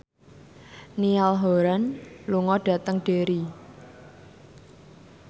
Niall Horran lunga dhateng Derry